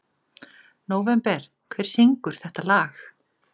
Nóvember, hver syngur þetta lag?